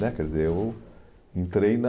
né Quer dizer, eu entrei na...